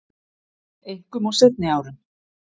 Einkum á seinni árum